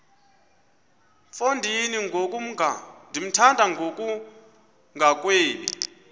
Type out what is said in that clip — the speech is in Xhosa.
mfo ndimthanda ngokungagwebi